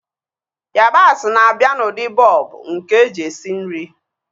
Yabasị bụ na-abịa n'ụdị bọlbụ nke eji esi nri